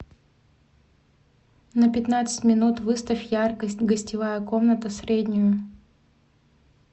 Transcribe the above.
на пятнадцать минут выставь яркость гостевая комната среднюю